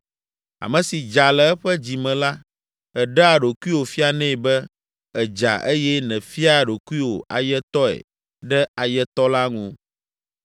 Ame si dza le eƒe dzi me la, èɖea ɖokuiwò fianɛ be èdza eye nèfiaa ɖokuiwò ayetɔe ɖe ayetɔ la ŋu.